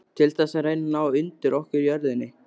Til þess að reyna að ná undir okkur jörðinni?